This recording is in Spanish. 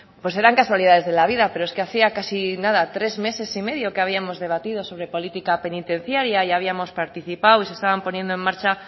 pues serán casualidades de la vida pero es que hacía casi nada tres meses y medio que habíamos debatido sobre política penitenciaria y habíamos participado y se estaban poniendo en marcha